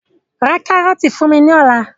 Ra kárọ́ọ́tì fún mi lọ́la!